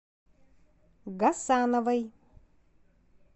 гасановой